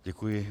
Děkuji.